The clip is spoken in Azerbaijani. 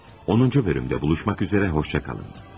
10-cu bölümdə buluşmaq üzərə xoşça qalın.